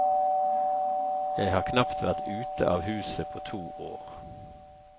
Jeg har knapt vært ute av huset på to år.